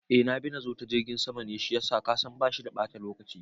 Eh nabi nazo ta jirgin sama ne shiyasa kasan bashi da bata lokaci